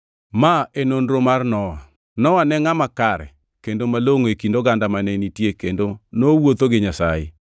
Ma e nonro mar Nowa. Nowa ne ngʼama kare, kendo malongʼo e kind oganda mane nitie kendo nowuotho gi Nyasaye.